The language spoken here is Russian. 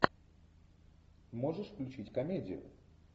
можешь включить комедию